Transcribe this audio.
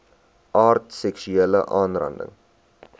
aard seksuele aanranding